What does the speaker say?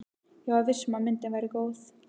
Ég var viss um að myndin væri góð.